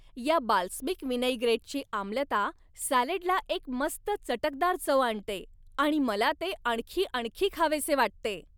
या बाल्समिक विनैग्रेटची आम्लता सॅलडला एक मस्त चटकदार चव आणते आणि मला ते आणखी आणखी खावेसे वाटते.